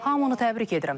Hamını təbrik edirəm.